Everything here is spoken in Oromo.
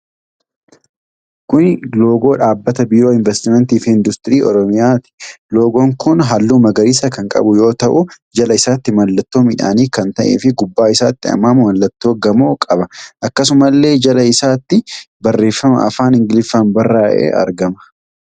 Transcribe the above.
Kunni loogoo Dhaabbata Biiroo Invastimantii fi Industirii Oromiyaati. Loogoon kun halluu magariisa kan qabu yoo ta'u, jala isaatti mallattoo midhaanii kan ta'ee fi gubbaa isaatti ammoo mallattoo gamoo qaba. Akkasumallee jala isaatti barreefama afaan Ingiliffaan barraa'ee argama.